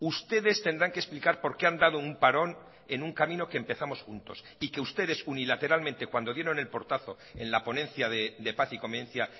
ustedes tendrán que explicar porque han dado un parón en un camino que empezamos juntos y que ustedes unilateralmente cuando dieron el portazo en la ponencia de paz y convivencia